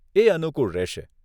એ અનુકુળ રહેશે.